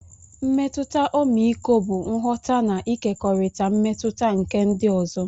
Mmetụta ọmịiko bụ nghọta na ịkekọrịta mmetụta nke ndị ọzọ.